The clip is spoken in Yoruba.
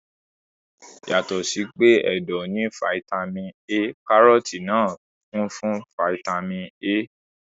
Yàtọ̀ sí pé ẹ̀dọ̀ ní fataímìn A, kárọ́tì náà kún fún fataímìn A.